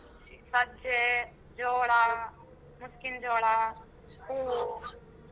ಸಜ್ಜೆ, ಜೋಳ, ಮುಸ್ಕಿನ್ ಜೋಳ, ಹೂವು.